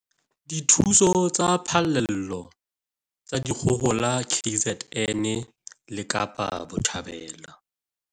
Dithuso tsa phallelo tsa dikgohola KZN le Kapa Botjhabela